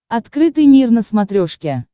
открытый мир на смотрешке